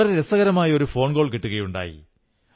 വളരെ രസകരമായ ഒരു ഫോൺ കോൾ കിട്ടുകയുണ്ടായി